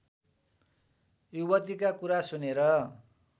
युवतीका कुरा सुनेर